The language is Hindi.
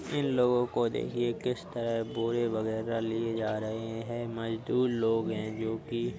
इन लोगों को देखिए किस तरह बोरे वगैरह लिए जा रहे हैं मजदूर लोग है जो की --